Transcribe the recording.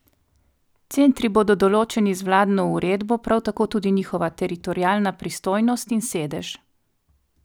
Centri bodo določeni z vladno uredbo, prav tako tudi njihova teritorialna pristojnost in sedež.